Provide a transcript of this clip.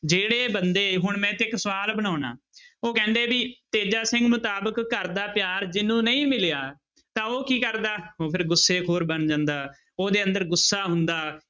ਜਿਹੜੇ ਬੰਦੇ ਹੁਣ ਮੈਂ ਇੱਥੇ ਇੱਕ ਸਵਾਲ ਬਣਾਉਨਾ ਉਹ ਕਹਿੰਦੇ ਵੀ ਤੇਜਾ ਸਿੰਘ ਮੁਤਾਬਿਕ ਘਰ ਦਾ ਪਿਆਰ ਜਿਹਨੂੰ ਨਹੀਂ ਮਿਲਿਆ ਤਾਂ ਉਹ ਕੀ ਕਰਦਾ, ਉਹ ਫਿਰ ਗੁੱਸੇਖੋਰ ਬਣ ਜਾਂਦਾ, ਉਹਦੇ ਅੰਦਰ ਗੁੱਸਾ ਹੁੰਦਾ,